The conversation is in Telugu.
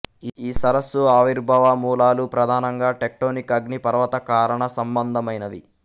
ఈ సరస్సు ఆవిర్భావ మూలాలు ప్రధానంగా టెక్టోనిక్ అగ్నిపర్వత కారణ సంబందమైనవి